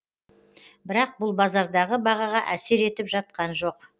бірақ бұл базардағы бағаға әсер етіп жатқан жоқ